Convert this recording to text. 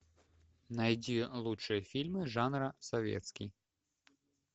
найди лучшие фильмы жанра советский